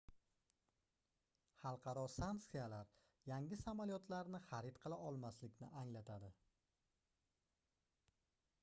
xalqaro sanksiyalar yangi samolyotlarni xarid qila olmaslikni anglatadi